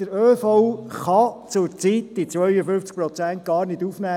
Der ÖV kann zurzeit diese 52 Prozent gar nicht aufnehmen.